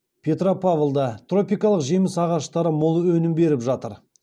петропавлда тропикалық жеміс ағаштары мол өнім беріп жатыр